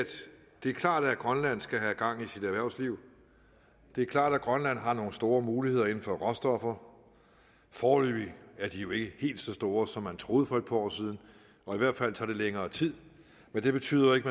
det er klart at grønland skal have gang i sit erhvervsliv det er klart at grønland har nogle store muligheder inden for råstoffer foreløbig er de jo ikke helt så store som man troede for et par år siden og i hvert fald tager det længere tid men det betyder ikke